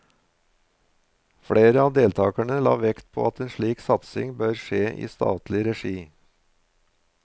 Flere av deltakerne la vekt på at en slik satsing bør skje i statlig regi.